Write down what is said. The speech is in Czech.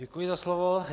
Děkuji za slovo.